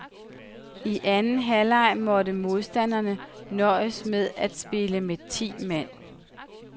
I anden halvleg måtte modstanderne nøjes med at spille med ti mand.